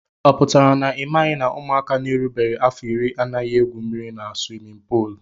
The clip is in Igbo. Ọ pụtara na imaghi na ụmụaka na erubeghi afọ irí anaghị egwú mmiri n' swimin poolu?